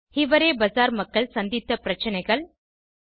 ஹிவரே பசார் மக்கள் சந்தித்த பிரச்சனைகள் 2